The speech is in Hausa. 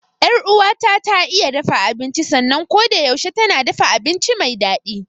Yar uwata ta iya dafa abinci sannan kodayaushe tana dafa abinci me daɗi.